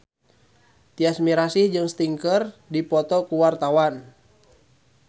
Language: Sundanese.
Tyas Mirasih jeung Sting keur dipoto ku wartawan